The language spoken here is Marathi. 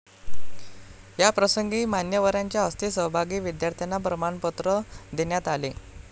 याप्रसंगी मान्यवरांच्या हस्ते सहभागी विद्यार्थ्यांना प्रमाणपत्र देण्यात आले.